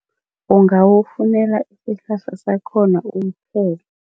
Ungawufunela isihlahla sakhona